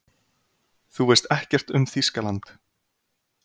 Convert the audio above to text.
Þú veist ekkert um Þýskaland.